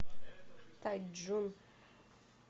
тайчжун